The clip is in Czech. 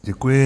Děkuji.